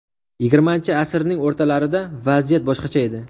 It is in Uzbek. Yigirmanchi asrning o‘rtalarida vaziyat boshqacha edi.